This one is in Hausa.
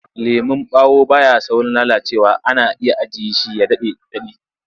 Lemon ɓawo ba ya saurin lalacewa ana iya ajiye shi ya ɗan daɗe.